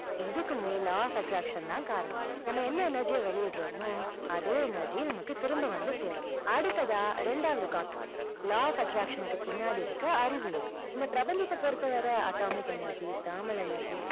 இதுக்குமே law of attraction தான் காரணம். நம்ம என்ன energy ய வெளியிடுறோமோ, அதே energy நமக்கு திரும்ப வந்து சேரும். அடுத்ததா இரண்டாவது concept law of attraction னுக்கு பின்னாடி இருக்கிற அறிவியல். இந்த பிரபஞ்சத்தை பொருத்தவரை atomic energy, thermal energy